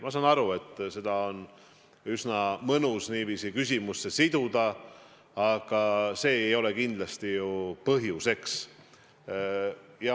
Ma saan aru, et seda on üsna mõnus niiviisi küsimuseks kokku siduda, aga see ei ole ju kindlasti põhjuseks.